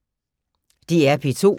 DR P2